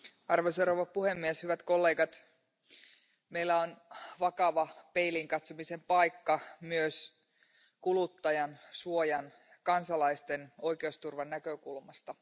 Arvoisa puhemies, hyvät kollegat, meillä on vakava peiliin katsomisen paikka myös kuluttajansuojan ja kansalaisten oikeusturvan näkökulmasta.